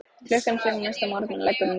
Klukkan fimm næsta morgun leggur hún í hann.